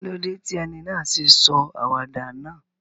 Kílódé ti eni náà sé sọ àwàdà náà?